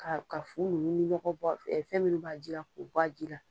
Ka ka fu nunnu nɔgɔ bɔ fɛn minnu b'a jila k'o bɔ a ji la.